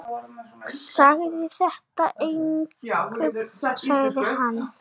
Segðu þetta engum sagði hann.